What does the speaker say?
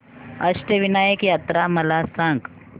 अष्टविनायक यात्रा मला सांग